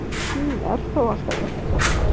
Hún er þó alltaf einhver.